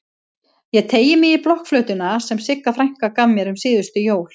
Ég teygi mig í blokkflautuna sem Sigga frænka gaf mér um síðustu jól.